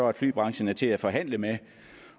at flybranchen er til at forhandle med